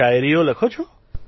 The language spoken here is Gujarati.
શાયરીઓ લખો છો